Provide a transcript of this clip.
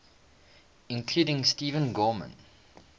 including steve gorman